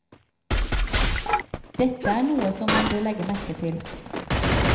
Dette er noe som man bør legge merke til.